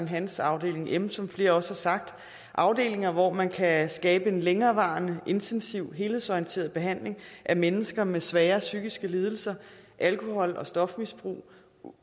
hans afdeling m som flere også har sagt afdelinger hvor man kan skabe en længerevarende intensiv helhedsorienteret behandling af mennesker med svære psykiske lidelser alkohol og stofmisbrug